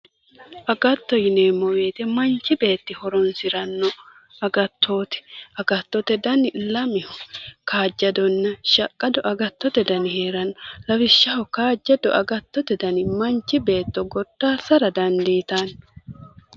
Agatto yinneemmo woyte manchi beetti horonsirano agattoti ,agattote danni lameho kaajjadonna shaqqado agattote danni heerano, lawishshaho kaajjado agatto manchi beetto godassara dandiittano.